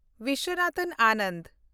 Vishwanathan Anand